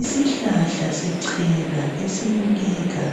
Isihlahla sechena esibukeka